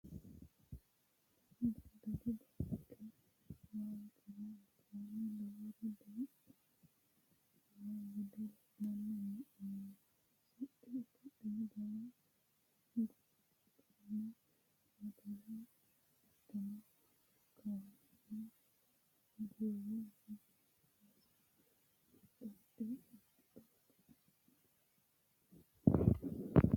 Daddalu baanke waalchira albaani lowori duuname no gede la'nanni hee'noommo siccu tophiyuhu jawa gujame mottore hattono kawani gura hige sase xoqixoqe